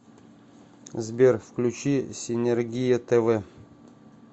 сбер включи синергия тв